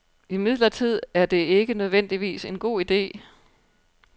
Imidlertid er det ikke nødvendigvis en god ide.